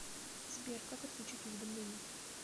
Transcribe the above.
сбер как отключить уведомление